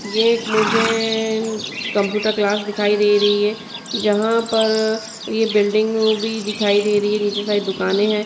यह एक मुझे एएए कंप्यूटर क्लास दिखाई दे रही है जहां पर यह बिल्डिंग भी दिखाई दे रही है नीचे सारी दुकानें है।